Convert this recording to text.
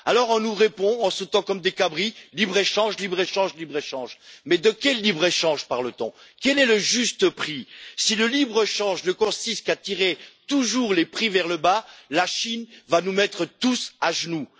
On nous répond en sautant comme des cabris libre échange, libre échange, libre-échange. Mais de quel libre échange parle t on? Quel est le juste prix? Si le libre-échange ne consiste qu'à tirer toujours les prix vers le bas, la Chine va nous mettre tous à genoux.